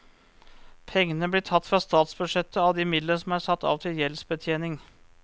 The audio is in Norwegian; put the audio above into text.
Pengene blir tatt fra statsbudsjettet av de midlene som er satt av til gjeldsbetjening.